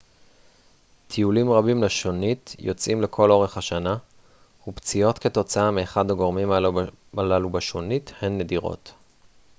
טיולים רבים לשונית יוצאים לכל אורך השנה ופציעות כתוצאה מאחד מהגורמים הללו בשונית הן נדירות